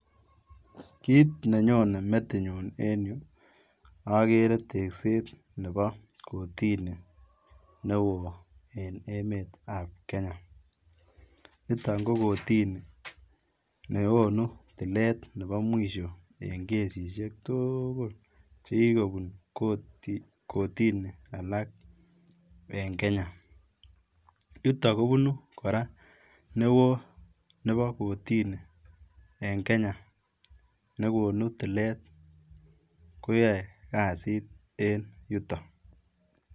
kiit nenyone metinyun enyuu okere tekset nebo kotini neo en emet ab kenya, niton kokotini nekonu tilet nebo mwisho en kesishek tuukul chekikobun kotini alak en kenya, yuto kobunu koraa neo nebo kotini en kenya nekonu tilet koyoe kazit en yutok.